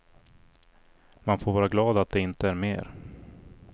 Man får vara glad att det inte är mer.